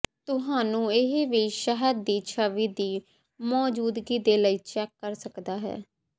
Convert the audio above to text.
ਤੁਹਾਨੂੰ ਇਹ ਵੀ ਸ਼ਹਿਦ ਦੀ ਛਵੀ ਦੀ ਮੌਜੂਦਗੀ ਦੇ ਲਈ ਚੈੱਕ ਕਰ ਸਕਦਾ ਹੈ